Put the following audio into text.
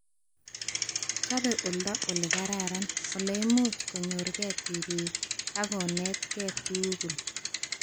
Chobe oldo olekararn olemuch konyorke tipik ak konetke tugul